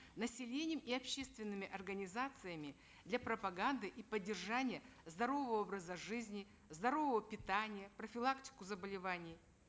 населением и общественными организациями для пропаганды и поддержания здорового образа жизни зорового питания профилактику заболеваний